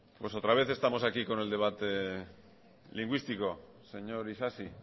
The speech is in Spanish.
pues otra vez estamos aquí con el debate lingüístico señor isasi